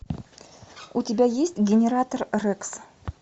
у тебя есть генератор рекс